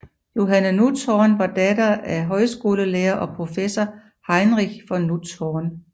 Johanne Nutzhorn var datter af højskolelærer og professor Heinrich von Nutzhorn